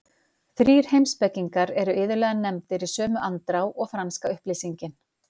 Þrír heimspekingar eru iðulega nefndir í sömu andrá og franska upplýsingin.